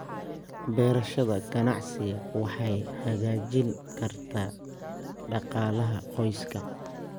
Beerashada ganacsiga waxay hagaajin kartaa dhaqaalaha qoyska.